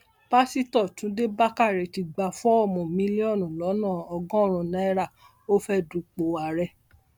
pásítọ túnde bàkàrẹ ti gba fọọmù mílíọnù lọnà ọgọrùnún náírà ó fẹẹ dúpọ ààrẹ